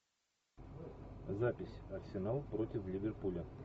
запись арсенал против ливерпуля